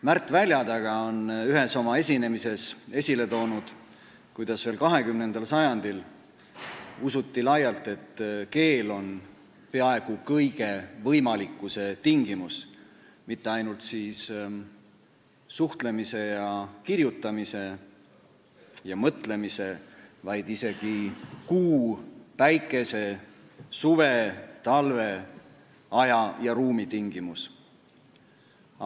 Märt Väljataga on ühes oma esinemises esile toonud, kuidas veel 20. sajandil usuti laialt, et keel on peaaegu kõige võimalikkuse tingimus, st mitte ainult suhtlemise, kirjutamise ja mõtlemise, vaid isegi kuu, päikese, suve, talve, aja ja ruumi tingimus.